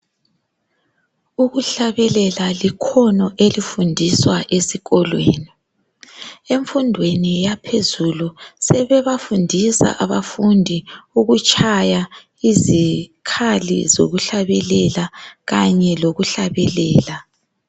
Ukuhlabelela likhono elifundiswa esikolweni. Emfundweni yaphezulu sebebafundisa abafundi ukutshaya izikhali zokuhlabelela kanye lokuhlabelela.